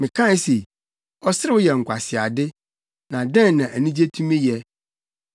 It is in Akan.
Mekae se, “Ɔserew yɛ nkwaseade. Na dɛn na anigye tumi yɛ?”